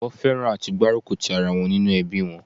Wón fẹ́ràn àti gbárùkù tì ara wọn nínú ẹbí wọn